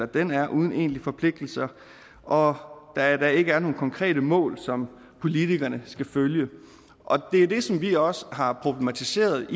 den er uden egentlige forpligtelser og at der ikke er nogen konkrete mål som politikerne skal følge og det er det som vi også har problematiseret